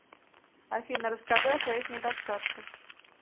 афина расскажи о своих недостатках